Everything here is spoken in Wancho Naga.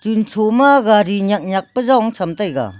chun cho ma gari nyak nyak pa jong cham taiga.